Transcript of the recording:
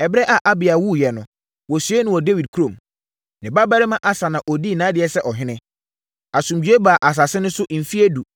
Ɛberɛ a Abia wuiɛ no, wɔsiee no wɔ Dawid kurom. Ne babarima Asa na ɔdii nʼadeɛ sɛ ɔhene. Asomdwoeɛ baa asase no so mfeɛ edu,